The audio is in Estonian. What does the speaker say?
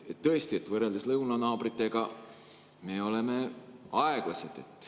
Tõesti, võrreldes lõunanaabritega me oleme aeglased.